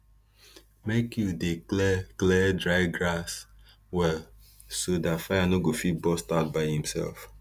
make you dey clear clear dry grass well so dat fire no go fit burst out by imself